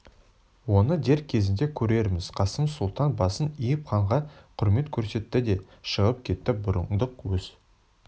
оны дер кезінде көрерміз қасым сұлтан басын иіп ханға құрмет көрсетті де шығып кетті бұрындық өз